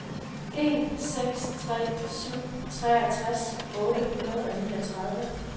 en seks tre syv treogtres otte hundrede og niogtredive